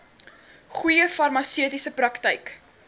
goeie farmaseutiese praktyk